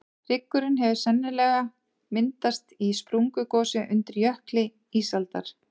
hryggurinn hefur sennilega myndast í sprungugosi undir jökli ísaldar